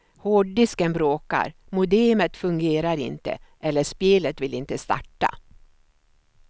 Hårddisken bråkar, modemet fungerar inte eller spelet vill inte starta.